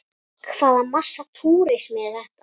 Hvaða massa túrismi er þetta?